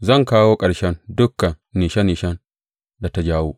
Zan kawo ƙarshen dukan nishe nishen da ta jawo.